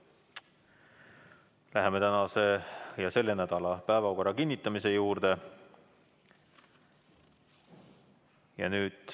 Läheme selle nädala päevakorra kinnitamise juurde.